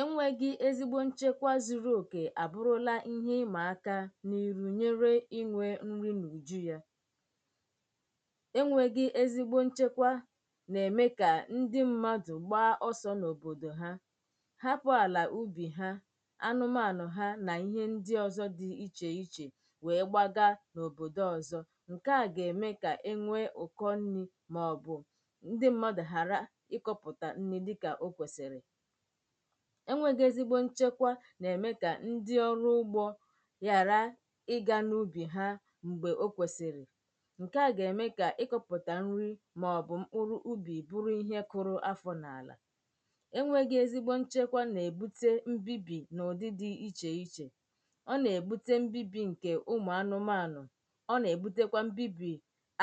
enwēghī ezigbo nchekwa zuruokè abụrụla ihe imà aka n’iru nyere inwē nri n’ùju yà énwēghī ezigbo nchekwa na-ème kà ndi mmadụ̀ gbaa ọsọ̄ n’òbòdò ha hapụ̀ àlà ubì ha, anụmanụ̀ ha nà ihe ndi ọzọ̄ dì ichèichè wee gbagaa òbòdò ọzọ̄ ǹkè a gà-ème kà enwee ụ̀kọ nri màọbụ̀ ndi mmadù ghàra ịkọ̀pụtà nri ǹkè okwesìrì enwēghī ezigbo nchekwa nà-ème kà ndi oru ugbō ghàra ị gā n’ubì ha m̀gbè okwèsìrì ǹkè a gà-ème kà ịkụ̄pụ̀tà nri màọbụ̀ mkpụrụ ubì bụrụ ihe kụrụ afọ n’àlà enwēghī ezigbo nchekwa nà-èbute mbibì n’ụ̀dị dì ichèichè ọ nà-èbute mbibì ǹkè ụmụ̀anụmanụ̀ ọ nà-èbutekwa mbibì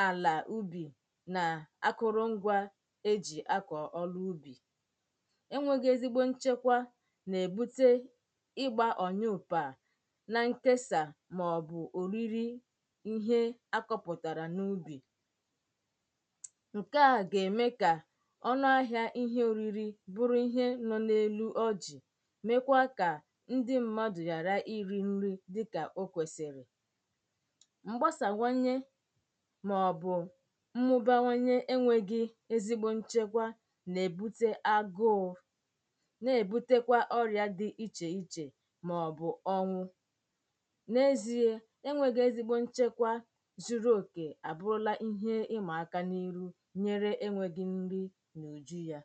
àlà ubì nà akụrụ ngwā e jì akọ̀ ọrụ ubì enwēghī ezigbo nchekwa nà-èbute ị gbā òyụpà nà nkesà màọbụ̀ òriri ihe akọ̄pụ̀tàrà n’ubì ǹkè a gà-ème kà ọnụ ahị̄a ihe òriri bụrụ ihe nọ n’elu ọjị̀ mekwaa kà ndi mmadụ̀ ghàra irī nri dikà okwèsìrì mgbasàwanye màọbụ̀ mmubawanye enwēghī ezigbo nchekwa nà-èbute agụụ nà-èbutekwa ọrịà dì ichèichè màọbụ̀ ọnwụ n’eziē c ezigbo nchekwa zuruokè abụrụla ihe imà aka n’iru nyéré énwēghī ńrí n’ùjú yà